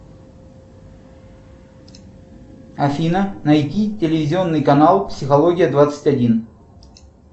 афина найди телевизионный канал психология двадцать один